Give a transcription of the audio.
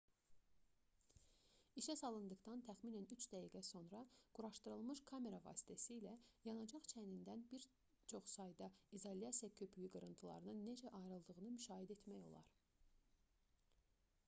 i̇şə salındıqdan təxminən 3 dəqiqə sonra quraşdırılmış kamera vasitəsilə yanacaq çənindən çox sayda izolyasiya köpüyü qırıntılarının necə ayrıldığını müşahidə etmək olar